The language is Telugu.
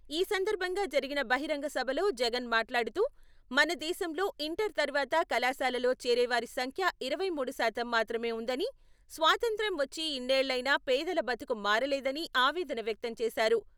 ఈ సందర్భంగా జరిగిన బహిరంగ సభలో జగన్ మాట్లాడుతూ, మనదేశంలో ఇంటర్ తర్వాత కళాశాలలో చేరేవారి సంఖ్య ఇరవై మూడు శాతం మాత్రమే ఉందని, స్వాతంత్య్రం వచ్చి ఇన్నేళ్లైనా పేదల బతుకు మారలేదని ఆవేదన వ్యక్తం చేశారు.